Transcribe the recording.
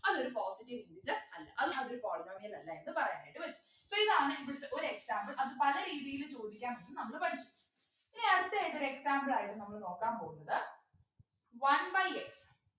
അതൊരു positive root അല്ല അത് അതൊരു polynomial അല്ല എന്ന് പറയാനായിട്ട് പറ്റും so ഇതാണ് ഇവിടെത്തെ ഒരു example അത് പല രീതിയിലും ചോദിക്കാം എന്നു നമ്മള് പഠിച്ചു ഇനി അടുത്തതായിട്ടൊരു example ആയിരുന്ന് നമ്മള് നോക്കാൻ പോകുന്നത് one by x